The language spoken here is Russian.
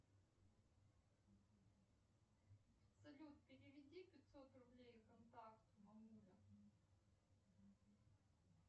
салют переведи пятьсот рублей контакту мамуля